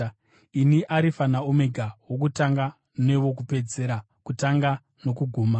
Ndini Arifa naOmega, wokutanga newokupedzisira, kutanga nokuguma.